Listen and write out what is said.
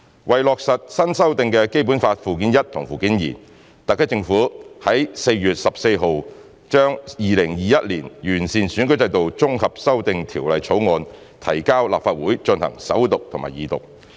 為落實新修訂的《基本法》附件一和附件二，特區政府在4月14日將《2021年完善選舉制度條例草案》提交立法會進行首讀和二讀。